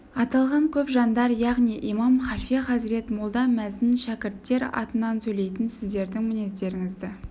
аталған көп жандар яғни имам халфе хазірет молда мәзін шәкірттер атынан сөйлейтін сіздердің мінездеріңізді